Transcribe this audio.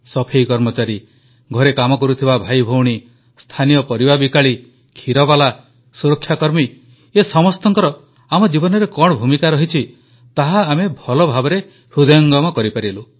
ସଫେଇ କର୍ମଚାରୀ ଘରେ କାମ କରୁଥିବା ଭାଇଭଉଣୀ ସ୍ଥାନୀୟ ପରିବା ବିକାଳୀ କ୍ଷୀରବାଲା ସୁରକ୍ଷାକର୍ମୀ ଏ ସମସ୍ତଙ୍କର ଆମ ଜୀବନରେ କଣ ଭୂମିକା ରହିଛି ତାହା ଆମେ ଭଲ ଭାବେ ହୃଦୟଙ୍ଗମ କରିପାରିଲୁ